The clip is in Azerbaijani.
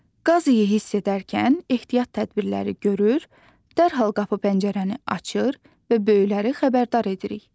Qaz iyi hiss edərkən ehtiyat tədbirləri görür, dərhal qapı pəncərəni açır və böyükləri xəbərdar edirik.